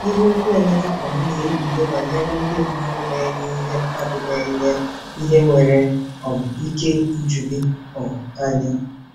Ihe okwu Emeka um na-ekpughe banyere ndị mmadụ na-enye ihe mmadụ na-enye ihe nwere um ike iju gị um anya.